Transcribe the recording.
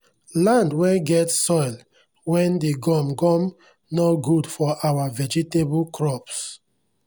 land wen get soil wen d gum gum nor gud for our vegetable crops